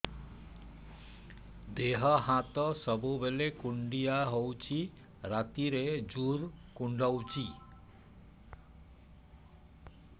ଦେହ ହାତ ସବୁବେଳେ କୁଣ୍ଡିଆ ହଉଚି ରାତିରେ ଜୁର୍ କୁଣ୍ଡଉଚି